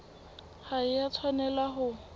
ha e a tshwanela ho